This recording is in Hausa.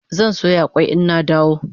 Zan soya kwai ina dawo gida